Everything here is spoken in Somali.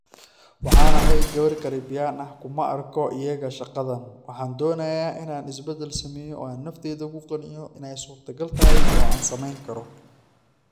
Waxaan ahay gabar Caribbean ah - kuma arko iyaga [shaqadaan]. Waxaan doonayaa in aan isbeddel sameeyo oo aan naftayda ku qanciyo in ay suurtogal tahay oo aan samayn karo.